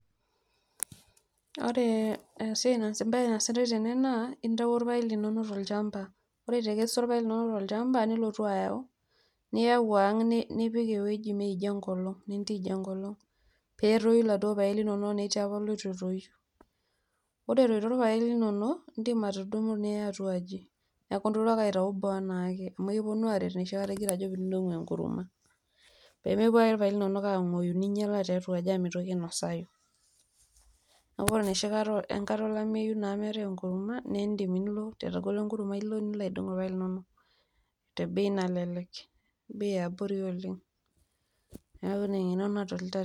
ore esiai naasitae embae naasitae tene naa intayio irpaek linonok tolchamba ,ore itekesua irpaek linonok tolchamba nilotu ayau , niyau ang nipik ewuei metoijo nintij enkolong pee etoyu iladuoo paek linonok tenetii duo ilitu etoyu. ore etoito irpaek linonok indim atudumu niya atuaji niaku ilotu ake aitayu boo anaake amu ekiponu aaret enoshi kata injo pin`dongu enkurma pemepuo ake irpaek linonok anguoyu ninyiala tiatua aji amu mitoki ainosayu . niaku ore enoshi kata enkata olameyu naa meetae enkurma nindim nilo etagolo enkurma nilo aidong irpaek linonok te bei nalelek oleng ,bei eabori oleng, niaku ina adolta.